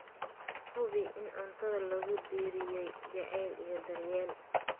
Hubi in cuntada lagu diyaariyey jacayl iyo daryeel.